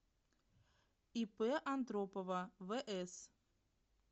ип антропова вс